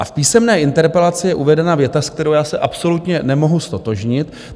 A v písemné interpelaci je uvedena věta, s kterou já se absolutně nemohu ztotožnit.